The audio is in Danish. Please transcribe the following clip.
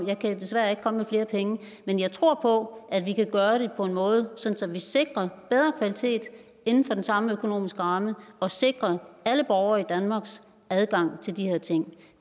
jeg kan desværre ikke komme med flere penge men jeg tror på at vi kan gøre det på en måde så vi sikrer bedre kvalitet inden for den samme økonomiske ramme og sikrer alle borgere i danmarks adgang til de her ting